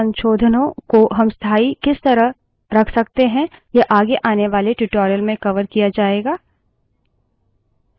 इन संशोधनों को हम स्थाई किस तरह रख सकते हैं यह आगे आने वाले tutorial में कवर किया जायेगा